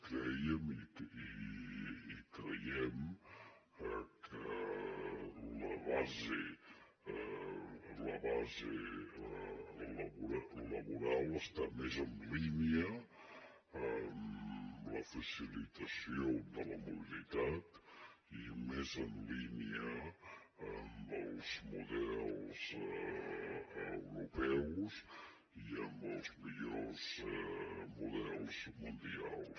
crèiem i ho creiem que la base laboral està més en línia amb la facilitació de la mobilitat i més en línia amb els models europeus i amb els millors models mundials